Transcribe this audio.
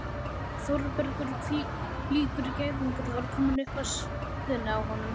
Þórbergur hvílíkur gæðingur var kominn upp að síðunni á honum?